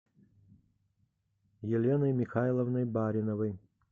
еленой михайловной бариновой